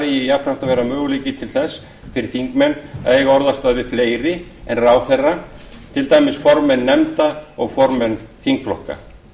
eigi jafnframt að vera möguleiki til þess fyrir þingmenn að eiga orðastað við fleiri en ráðherra til dæmis formenn nefnda og formenn þingflokka